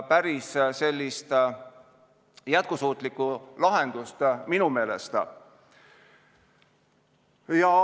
Päris sellist jätkusuutlikku lahendust minu meelest ei ole.